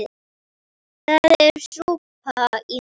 Það er súpa í honum.